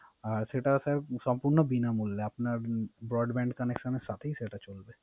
সেটা স্যার সম্পুর্ন বিনামূল্যো আপনার Broadband connection এর সাথেই সেটা চলবে